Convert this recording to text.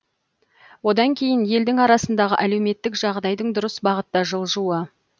одан кейін елдің арасындағы әлеуметтік жағдайдың дұрыс бағытта жылжуы